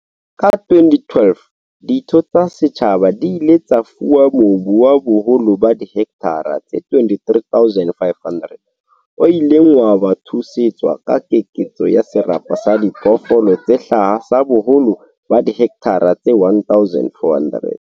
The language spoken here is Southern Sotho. Ka 2012, ditho tsa setjhaba di ile tsa fuwa mobu wa boholo ba dihekthara tse 23 500 o ileng wa thusetswa ka keketso ya serapa sa diphoofolo tse hlaha sa boholo ba dihekthara tse 1 400.